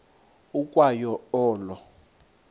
ukwa yo olo